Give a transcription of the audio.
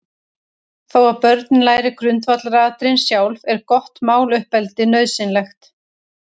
Þó að börnin læri grundvallaratriðin sjálf, er gott máluppeldi nauðsynlegt.